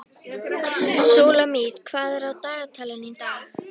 Súlamít, hvað er á dagatalinu í dag?